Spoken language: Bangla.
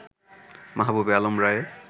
মাহবুবে আলম রায়ে